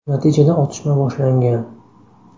Natijada otishma boshlangan.